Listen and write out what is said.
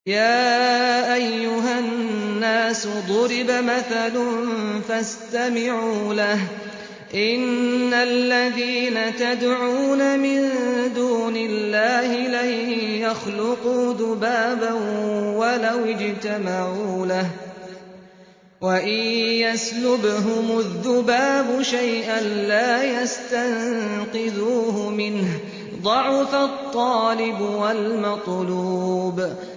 يَا أَيُّهَا النَّاسُ ضُرِبَ مَثَلٌ فَاسْتَمِعُوا لَهُ ۚ إِنَّ الَّذِينَ تَدْعُونَ مِن دُونِ اللَّهِ لَن يَخْلُقُوا ذُبَابًا وَلَوِ اجْتَمَعُوا لَهُ ۖ وَإِن يَسْلُبْهُمُ الذُّبَابُ شَيْئًا لَّا يَسْتَنقِذُوهُ مِنْهُ ۚ ضَعُفَ الطَّالِبُ وَالْمَطْلُوبُ